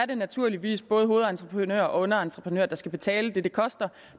det naturligvis både er hovedentreprenør og underentreprenør der skal betale det det koster